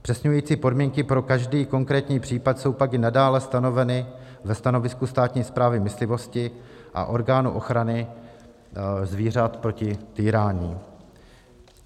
Zpřesňující podmínky pro každý konkrétní případ jsou pak i nadále stanoveny ve stanovisku státní správy myslivosti a orgánu ochrany zvířat proti týrání.